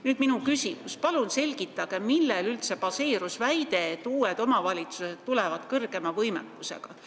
Nüüd minu küsimus: palun selgitage, millel üldse baseerus väide, et uutes omavalitsustes on suurem võimekus!